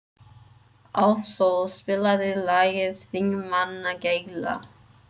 Álfsól, spilaðu lagið „Þingmannagæla“.